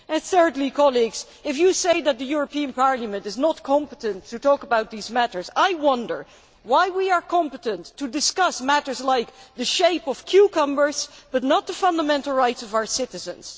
Thirdly, colleagues, if you say that the European Parliament is not competent to talk about these matters, I wonder why we are competent to discuss matters like the shape of cucumbers but not the fundamental rights of our citizens.